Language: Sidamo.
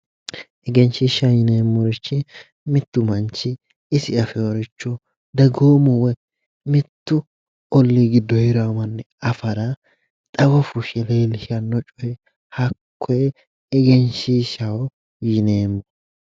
Egenshiishshaho yineemmorichi mittu manchi isi afeyoricho dagoomu woyi mittu ollii giddo heeranno manni afara xawo fushshineenna leellishanno coye hakkoye egenshiishshaho yiineemmo